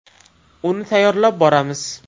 Uni tayyorlab boramiz.